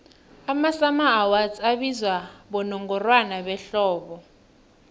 amasummer awards abizwa bonongorwana behlobo